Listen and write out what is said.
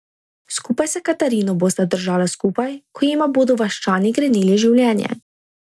Skupaj s Katarino bosta držala skupaj, ko jima bodo vaščani grenili življenje.